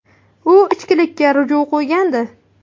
U ichkilikka ruju qo‘ygandi.